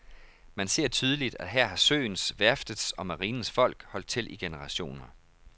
Man ser tydeligt, at her har søens, værftets og marinens folk holdt til i generationer.